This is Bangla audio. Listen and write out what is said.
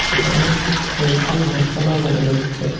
এখানে কয়েকটি গাছপালাও দেখা যাচ্ছে।